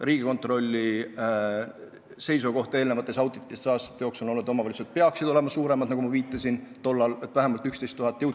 Riigikontrolli seisukoht on juba aastaid olnud, et omavalitsused peaksid olema suuremad, nagu ma juba viitasin, vähemalt 11 000 elanikku.